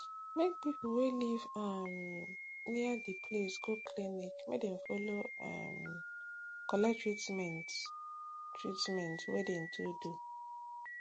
make people wey live um near de place go clinic make dem follow um collect treament collect treament wey de to do